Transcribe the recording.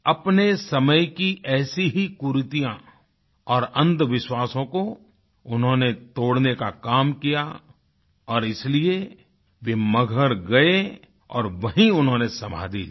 अपने समय की ऐसी ही कुरीतियाँ और अंधविश्वासों को उन्होंने तोड़ने का काम किया और इसलिए वे मगहर गए और वहीँ उन्होंने समाधि ली